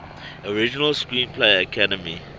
original screenplay academy